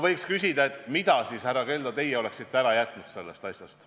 Võiks küsida, et mida teie, härra Keldo, oleksite siis ära jätnud sellest kõigest.